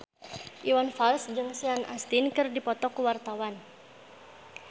Iwan Fals jeung Sean Astin keur dipoto ku wartawan